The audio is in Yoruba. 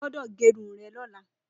Ó gbọdọ gẹrún rẹ̀ lọlá